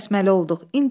Qıçını kəsməli olduq.